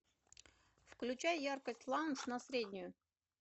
включай яркость лаунж на среднюю